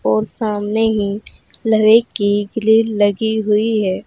और सामने ही लोहे की ग्रिल लगी हुई है।